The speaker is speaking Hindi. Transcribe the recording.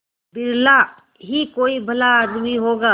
बिरला ही कोई भला आदमी होगा